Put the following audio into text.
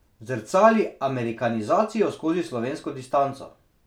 Zrcali amerikanizacijo skozi slovensko distanco.